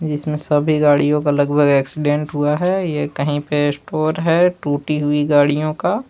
जिसमे सभी गाड़ियों का लगभग एक्सीडेंट हुआ है ये कही पर स्टोर है टूटी हुई गाड़ियों का।